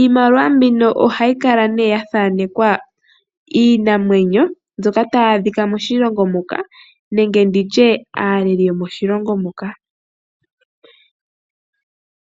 Iimaliwa mbino ohayi kala nee yathaanekwa iinamwenyo mbyoka tayi adhika moshilongo moka nenge nditye aaleli yomoshilongo moka.